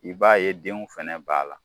I b'a ye denw fɛnɛ b'a la.